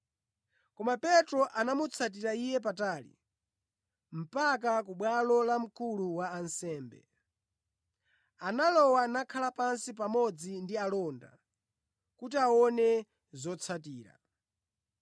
Koma Petro anamutsatira Iye patali, mpaka ku bwalo la mkulu wa ansembe. Analowa nakhala pansi pamodzi ndi alonda kuti aone zotsatira.